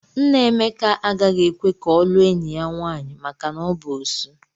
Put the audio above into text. Nna Emeka agaghị ekwe ka ọ lụọ enyi ya nwaanyị maka na ọ bụ Osu.